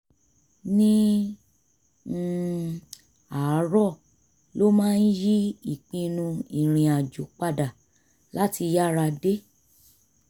ní um àárọ̀ ló máa ń yí ìpinnu irinàjò padà láti yára dé